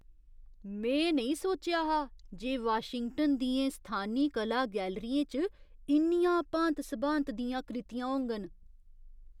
में नेईं सोचेआ हा जे वाशिंगटन दियें स्थानी कला गैलरियें च इन्नियां भांत सभांत दियां कृतियां होङन।